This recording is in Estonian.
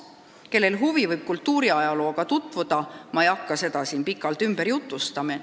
Kellel huvi, võib kultuuriajalooga tutvuda, ma ei hakka seda siin pikalt ümber jutustama.